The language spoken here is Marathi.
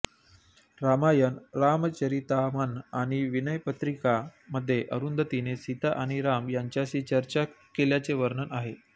रामायण रामचरितामन आणि विनय पत्रिका मध्ये अरुंधतींने सीता आणि राम यांच्याशी चर्चा केल्याचे वर्णन आहे